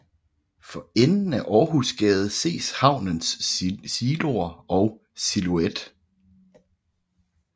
For enden af Århusgade ses havnens siloer og silhuet